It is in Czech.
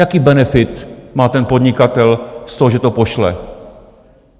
Jaký benefit má ten podnikatel z toho, že to pošle?